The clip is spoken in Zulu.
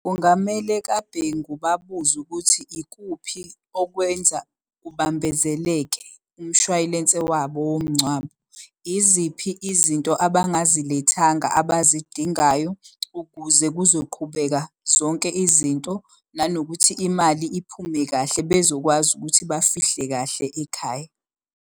Kungamele kaBhengu babuze ukuthi ikuphi okwenza kubambezeleke umshwayilense wabo womngcwabo. Iziphi izinto abangazilethanga abazidingayo ukuze kuzoqhubeka zonke izinto? Nanokuthi imali iphume kahle bezokwazi ukuthi bafihle kahle ekhaya.